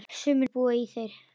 Sumir búa í þér.